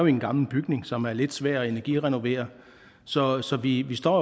en gammel bygning som er lidt svær at energirenovere så så vi står